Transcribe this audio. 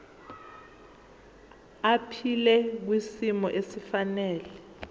aphile kwisimo esifanele